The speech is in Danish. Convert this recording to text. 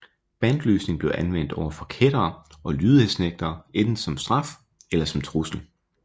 Bandlysning blev anvendt overfor kættere og lydighedsnægtere enten som straf eller som trussel